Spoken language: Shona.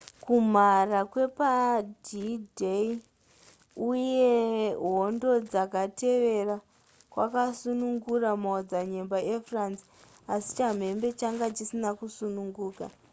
kumhara kwepad-day uye hondo dzakatevera kwakasunungura maodzanyemba efrance asi chamhembe changa chisina kusununguka